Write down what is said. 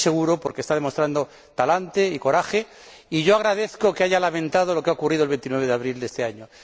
Estoy seguro, porque está demostrando talante y coraje, y agradezco que haya lamentado lo ocurrido el 29 de abril de este año.